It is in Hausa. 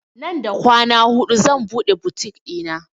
Nan da kwana hudu zan buɗe butik ɗina